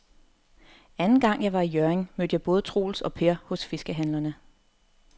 Anden gang jeg var i Hjørring, mødte jeg både Troels og Per hos fiskehandlerne.